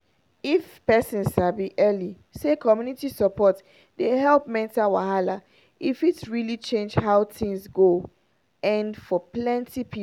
if person sabi early say community support dey help mental wahala e fit really change how things go end for plenty people